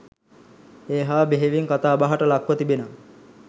ඒ හා බෙහෙවින් කතාබහට ලක්ව තිබෙන